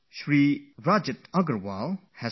Rajat Agarwal has told us something good